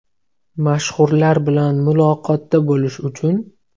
Mashhurlar bilan muloqotda bo‘lish uchun.